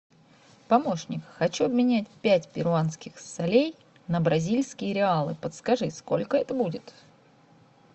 помощник хочу обменять пять перуанских солей на бразильские реалы подскажи сколько это будет